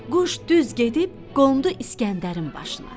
Quş düz gedib qondu İskəndərin başına.